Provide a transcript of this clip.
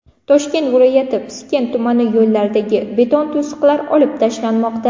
Toshkent viloyati Piskent tumani yo‘llaridagi beton to‘siqlar olib tashlanmoqda.